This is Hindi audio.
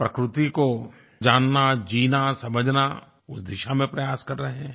प्रकृति को जानना जीना समझना उस दिशा में प्रयास कर रहे हैं